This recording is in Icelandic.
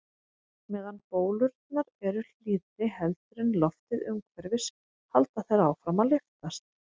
Meðan bólurnar eru hlýrri heldur en loftið umhverfis halda þær áfram að lyftast.